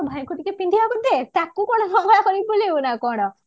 ତୋ ଭାଇକୁ ଟିକେ ପିନ୍ଧିବାକୁ ଦେ ତାକୁ କଣ ଳଙ୍ଗଳା କରିକି ବୁଲେଇବ ନା କଣ